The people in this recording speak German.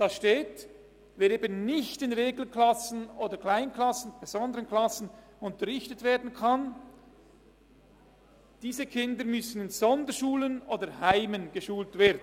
Die Kinder, die nicht in Regelklassen, Kleinklassen oder besonderen Klassen unterrichtet werden können, müssen in Sonderschulen oder Heimen geschult werden.